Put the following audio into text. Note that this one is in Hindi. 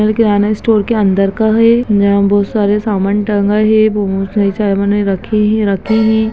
यह किराने स्टोर का अंदर का है यहा बहुत सारे सामान टंगा है बहुत सारे सामने रखे है रखे है।